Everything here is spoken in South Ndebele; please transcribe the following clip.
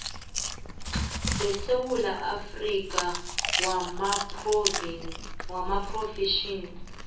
wesewula afrika wamaphrofetjhini